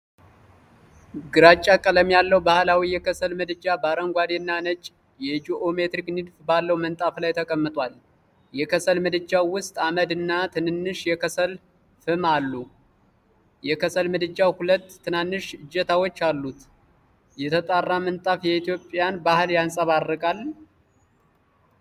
ግራጫ ቀለም ያለው ባህላዊ የከሰል ምድጃ በአረንጓዴ እና ነጭ የጂኦሜትሪክ ንድፍ ባለው ምንጣፍ ላይ ተቀምጧል። የከሰል ምድጃው ውስጥ አመድ እና ትንሽ የከሰል ፍም አሉ። የከሰል ምድጃው ሁለት ትናንሽ እጀታዎች አሉት። የተጣራ ምንጣፉ የኢትዮጵያን ባህል ያንፀባርቃል?